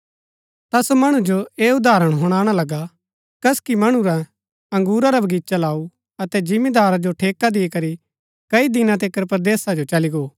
ता सो मणु जो ऐह उदाहरण हुणाणा लगा कसकी मणुऐ अंगुरा रा बगीचा लाऊ अतै जिमीदारा जो ठेका दी करी कई दिना तिकर परदेसा जो चली गो